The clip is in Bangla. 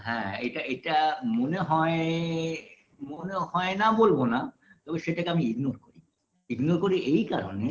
হ্যাঁ এইটা এইটা মনে হয় মনে হয় না বলব না তবে সেটাকে আমি ignore করি ignore করি এই কারণে